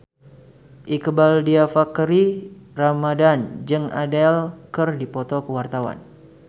Iqbaal Dhiafakhri Ramadhan jeung Adele keur dipoto ku wartawan